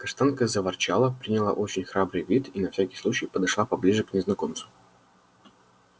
каштанка заворчала приняла очень храбрый вид и на всякий случай подошла поближе к незнакомцу